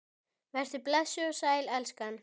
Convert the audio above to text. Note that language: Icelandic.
Vertu blessuð og sæl, elskan!